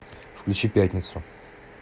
включи пятницу